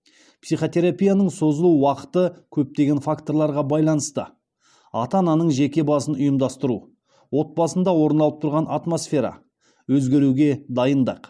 психотерапияның созылу уақыты көптеген факторларға байланысты ата ананың жеке басын ұйымдастыру отбасында орын алып тұрған атмосфера өзгеруге дайындық